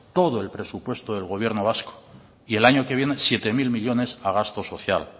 todo el presupuesto del gobierno vasco y el año que viene siete mil millónes a gasto social